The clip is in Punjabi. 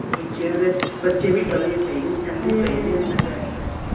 ਬੱਚਿਆਂ ਦੇ ਬੱਚੇ ਵੀ ਡਰੇ ਪਏ ਨੇ ਸਹਿਮੇ ਪਏ ਨੇ ਅੰਦਰ ਬੈਠ ਬੈਠ ਕੇ